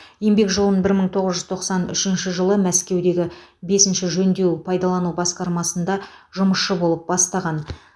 еңбек жолын бір мың тоғыз жүз тоқсан үшінші жылы мәскеудегі бесінші жөндеу пайдалану басқармасында жұмысшы болып бастаған